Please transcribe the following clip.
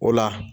O la